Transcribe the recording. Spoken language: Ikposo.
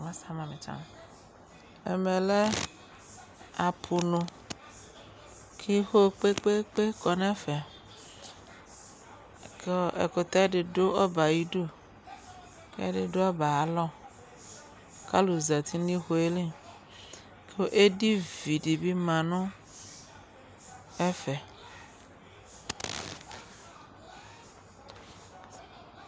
Ɛmɛ lɛ apʋnu kʋ iwo kpe-kpe-kpe kɔ nʋ ɛfɛ kʋ ɔ ɛkʋtɛ dɩ dʋ ɔbɛ yɛ ayidu kʋ ɛdɩ dʋ ɔbɛ yɛ ayalɔ kʋ alʋ zati nʋ iwo yɛ li kʋ edivi dɩ bɩ ma nʋ ɛfɛ